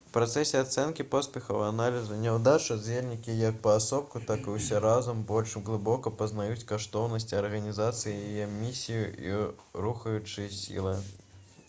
у працэсе ацэнкі поспехаў і аналізу няўдач удзельнікі як паасобку так і ўсе разам больш глыбока пазнаюць каштоўнасці арганізацыі яе місію і рухаючыя сілы